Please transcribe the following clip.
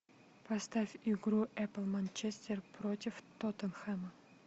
поставь игру эпл манчестер против тоттенхэма